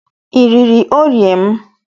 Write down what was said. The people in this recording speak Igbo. I riri oreo m?